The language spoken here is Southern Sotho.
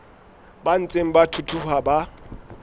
ba ntseng ba thuthuha ba